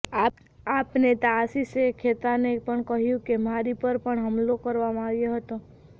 આપ નેતા આશિષે ખેતાને પણ કહ્યું કે મારી પર પણ હુમલો કરવામાં આવ્યો